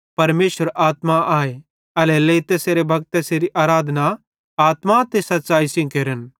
परमेशर आत्मा आए एल्हेरेलेइ तैसेरे भक्त तैसेरी आराधना आत्मा ते सच़्च़ैई सेइं केरन